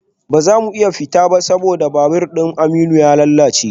Ba za mu iya fita ba saboda mashin babur Aminu ya lalace